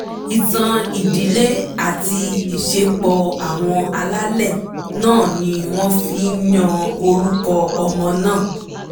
ìtàn ìdílé àti ìṣepọ̀ àwọn alálẹ̀ náà ni wọ́n fi yan orúkọ ọmọ náà